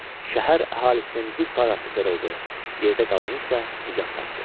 Şəhər əhalisinin bir parası qırıldı, yerdə qalanı isə nicat tapdı.